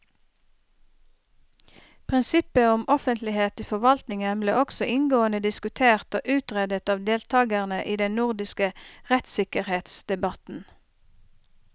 Prinsippet om offentlighet i forvaltningen ble også inngående diskutert og utredet av deltakerne i den nordiske rettssikkerhetsdebatten.